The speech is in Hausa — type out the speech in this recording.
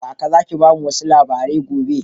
Kaka Zaki bamu wasu labarai gobe.